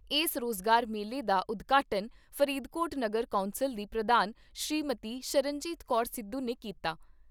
ਏਸ ਰੋਜ਼ਗਾਰ ਮੇਲੇ ਦਾ ਉਦਘਾਟਨ ਫਰੀਦਕੋਟ ਨਗਰ ਕੌਂਸਲ ਦੀ ਪ੍ਰਧਾਨ ਸ੍ਰੀਮਤੀ ਸ਼ਰਨਜੀਤ ਕੌਰ ਸਿੱਧੂ ਨੇ ਕੀਤਾ।